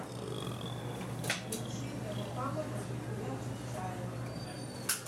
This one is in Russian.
включи для мухаммада зульфия чотчаева